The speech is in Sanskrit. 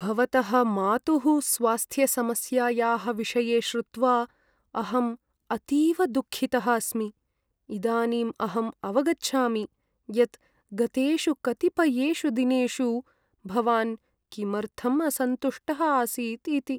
भवतः मातुः स्वास्थ्यसमस्यायाः विषये श्रुत्वा अहम् अतीव दुःखितः अस्मि। इदानीं अहम् अवगच्छामि यत् गतेषु कतिपयेषु दिनेषु भवान् किमर्थम् असन्तुष्टः आसीत् इति।